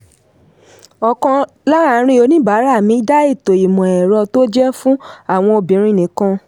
ọ̀kan lárin oníbàárà mi dá ètò imọ̀-ẹ̀rọ tó jẹ́ fún àwọn obìnrin nìkan.